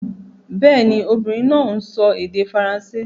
Bẹ́ẹ̀ ni, obìnrin náà ń sọ èdè Faransé